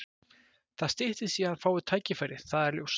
Það styttist í að hann fái tækifærið, það er ljóst.